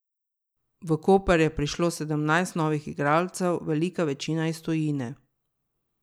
V Koper je prišlo sedemnajst novih igralcev, velika večina iz tujine.